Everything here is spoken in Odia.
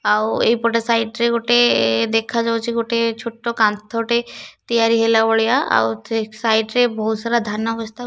ଆଉ ଏଇ ପଟେ ସାଇଟ ରେ ଗୋଟେ ଦେଖାଯାଉଛି ଗୋଟେ ଛୋଟ କାନ୍ଥ ଟେ ତିଆରି ହେଲା ଭଳିଆ ଆଉ ସେ ସାଇଟ ରେ ବହୁତ ସାରା ଧାନ ବସ୍ତା--